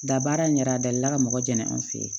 Da baara in ɲɛda dali la ka mɔgɔ jɛnna an fɛ yen